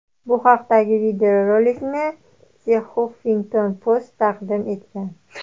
Bu haqdagi videorolikni The Huffington Post taqdim etgan .